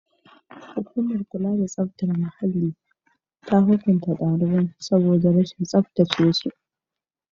Hukumar kula da tsaftar muhalli ta hukunta daliban saboda rashin tsaftace su.